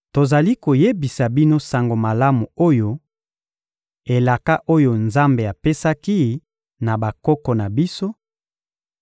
Tozali koyebisa bino sango malamu oyo: elaka oyo Nzambe apesaki na bakoko na biso,